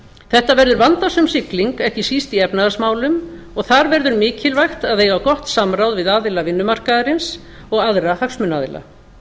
þetta verður vandasöm sigling ekki síst í efnahagsmálum og þar verður mikilvægt að eiga gott samráð við aðila vinnumarkaðarins og aðra hagsmunaaðila